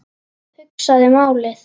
Hugsaði málið.